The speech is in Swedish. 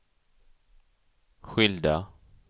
skilda